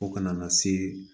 O kana na se